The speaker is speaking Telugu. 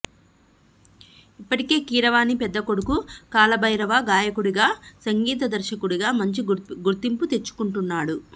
ఇప్పటికే కీరవాణి పెద్ద కొడుకు కాళభైరవ గాయకుడిగా సంగీత దర్శకుడిగా మంచి గుర్తింపు తెచ్చుకుంటున్నాడు